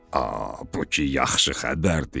A, bu ki yaxşı xəbərdir.